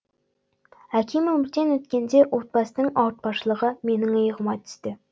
әкем өмірден өткенде отбасының ауыртпашылығы менің иығыма түсті